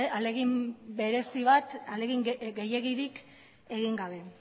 ahalegin gehiegirik egin gabe